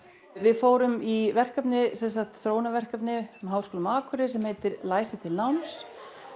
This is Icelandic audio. við fórum í þróunarverkefni með Háskólanum á Akureyri sem heitir læsi til náms